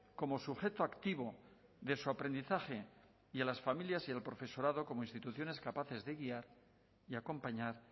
como sujeto activo de su aprendizaje y a las familias y al profesorado como instituciones capaces de guiar y acompañar